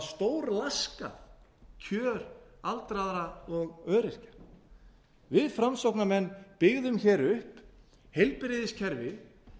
síðan þá hafa stórlaskað kjör aldraðra og öryrkja við framsóknarmenn byggðum upp heilbrigðiskerfið